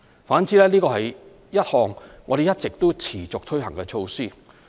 反之，這是一項我們一直持續推行的措施。